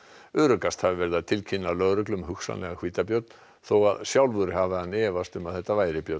öruggast hafi verið að tilkynna lögreglu um hugsanlegan hvítabjörn þó sjálfur hafi hann efast um að þetta væri björn